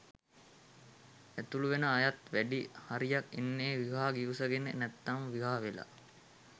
ඇතුළු වෙන අයත් වැඩි හරියක් එන්නේ විවාහ ගිවිසගෙන නැත්නම් විවාහ වෙලා